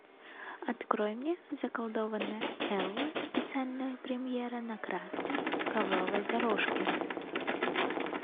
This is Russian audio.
открой мне заколдованная элла специальная премьера на красной ковровой дорожке